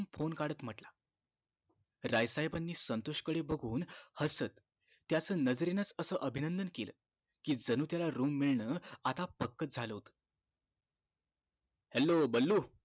phone काढत म्हणाला राय साहेबानी संतोष कडे बघुन हसत त्याच नजरेनं च असं अभिनंदन केलं कि जणू त्याला room मिळणं आता पक्कं च झालं होत hello बल्लू